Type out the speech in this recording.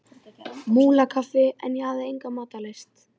Múlakaffi en ég hafði enga matarlyst.